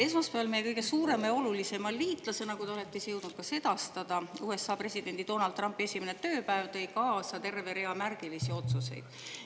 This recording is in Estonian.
Esmaspäev, meie kõige suurema ja olulisema liitlase, nagu te olete ise jõudnud ka sedastada, USA presidendi Donald Trumpi esimene tööpäev tõi kaasa terve rea märgilisi otsuseid.